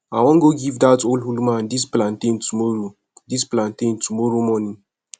i wan go give dat old woman dis plantain tomorrow dis plantain tomorrow morning